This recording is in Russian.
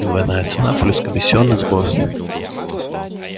двойная цена плюс комиссионный сбор